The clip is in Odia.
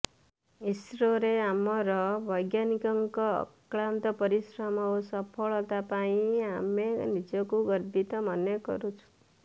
ଇସ୍ରୋରେ ଆମର ବୈଜ୍ଞାନିକଙ୍କ ଅକ୍ଳାନ୍ତ ପରିଶ୍ରମ ଓ ସଫଳତା ପାଇଁ ଆମେ ନିଜକୁ ଗର୍ବିତ ମନେ କରୁଛୁ